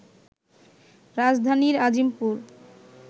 রাজধানীর আজিমপুর